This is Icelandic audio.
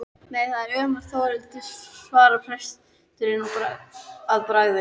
Nei það er ómögulegt Þórhildur, svarar presturinn að bragði.